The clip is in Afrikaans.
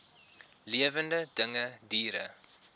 lewende dinge diere